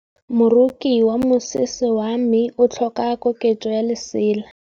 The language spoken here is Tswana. Moroki wa mosese wa me o tlhoka koketsô ya lesela.